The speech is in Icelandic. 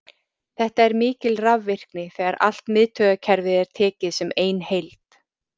Þetta er mikil rafvirkni þegar allt miðtaugakerfið er tekið sem ein heild.